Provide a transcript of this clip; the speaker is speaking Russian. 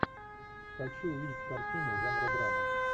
хочу увидеть картину жанра драма